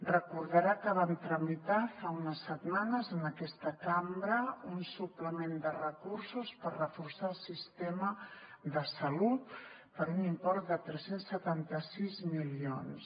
recordarà que vam tramitar fa unes setmanes en aquesta cambra un suplement de recursos per reforçar el sistema de salut per un import de tres cents i setanta sis milions